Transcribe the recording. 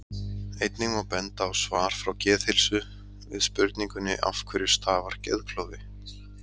einnig má benda á svar frá geðheilsu við spurningunni af hverju stafar geðklofi